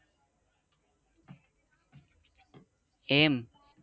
એમ